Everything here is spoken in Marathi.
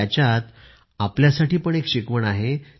याच्यात आपल्यासाठी पण एक शिकवण आहे